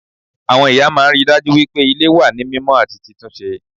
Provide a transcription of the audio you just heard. Àwọn ìyá máa n ríi dájú wípé Ilé wà ní mímó àti títúnse